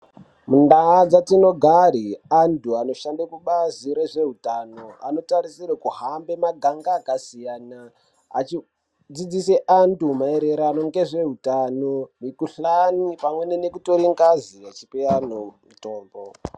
Mundaa dzatinogare antu anoshanda kubazi rezveutano anotarisirwe kuhamba maganga akasiyana. Achidzidzise antu maererano ngezvehutano mikuhlani pamweni ngekutore ngazi achipavantu mutombo.